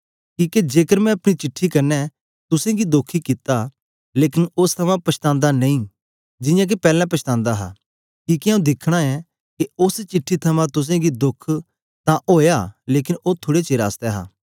किके जेकर मैं अपनी चिट्ठी क्न्ने तुसेंगी दोखी कित्ता लेकन ओस थमां पछातांदा नेई जियां के पैलैं पछातांदा हा किके आंऊँ दिखना ऐ के ओस चिट्ठी थमां तुसेंगी दोख तां ओया लेकन ओ थुड़े चेर आसतै हा